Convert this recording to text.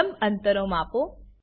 લંબ અંતરો માપો